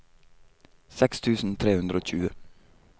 seks tusen tre hundre og tjue